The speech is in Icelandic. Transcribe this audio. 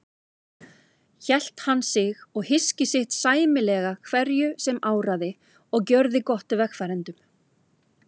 Hélt hann sig og hyski sitt sæmilega hverju sem áraði og gjörði gott vegfarendum.